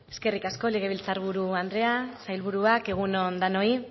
eskerrik asko legebiltzar buru andrea sailburuak egun on denoi